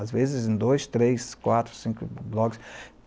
Às vezes em dois, três, quatro, cinco blogs.